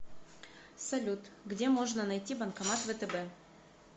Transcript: салют где можно найти банкомат втб